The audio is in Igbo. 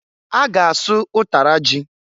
A ga asụ ụtara ji.